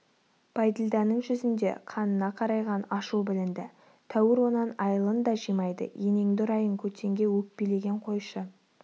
байділданың жүзінде қанына қарайған ашу білінді тәуір онан айылын да жимайды енеңді ұрайын көтенге өкпелеген қойшы